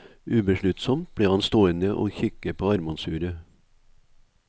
Ubesluttsomt ble han stående og kikke på armbåndsuret.